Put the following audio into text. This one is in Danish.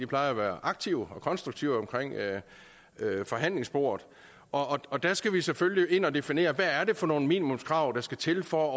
plejer at være aktive og konstruktive ved forhandlingsbordet og og der skal vi skal selvfølgelig ind og definere hvad det er for nogle minimumskrav der skal til for at